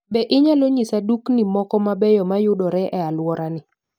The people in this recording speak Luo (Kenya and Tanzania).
Be inyalo nyisa dukni moko mabeyo ma yudore e alworani?